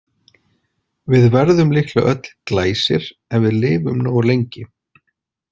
Við verðum líklega öll Glæsir ef við lifum nógu lengi.